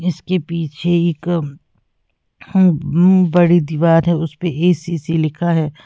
इसके पीछे एक बड़ी दीवाल है उसपे ए_सी_सी लिखा है।